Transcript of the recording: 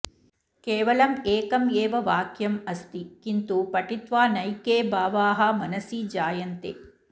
केवलम् एकम् एव वाक्यं अस्ति किन्तु पठित्वा नैके भावाः मनसि जायन्ते